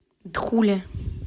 дхуле